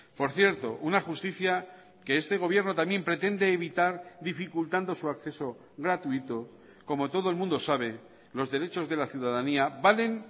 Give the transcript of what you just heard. por cierto una justicia que este gobierno también pretende evitar dificultando su acceso gratuito como todo el mundo sabe los derechos de la ciudadanía valen